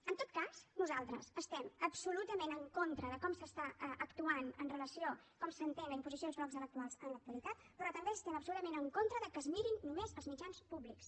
en tot cas nosaltres estem absolutament en contra de com s’està actuant amb relació a com s’entén la imposició dels blocs electorals en l’actualitat però també estem absolutament en contra que es mirin només els mitjans públics